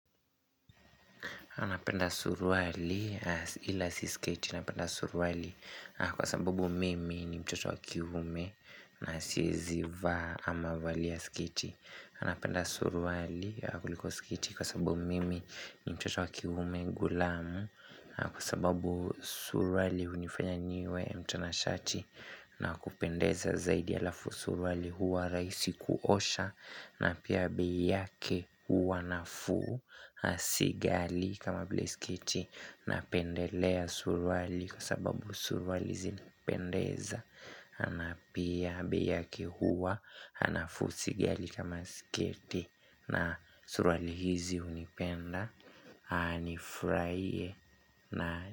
Napenda suruali ila si sketi napenda suruali kwa sababu mimi ni mtoto wa kiume na siezi vaa ama valia sketi. Napenda suruali kuliko skeiti kwa sababu mimi ni mtoto wa kiume ghulamu Kwa sababu suruali hunifanya niwe mtanashati na kupendeza zaidi alafu suruali huwa rahisi kuosha na pia bei yake huwa nafuu si ghali kama vile sketi Napendelea suruali kwa sababu suruali zinapendeza na pia bei yake huwa nafuu si ghali kama sketi na suruali hizi hunipenda nifurahie na.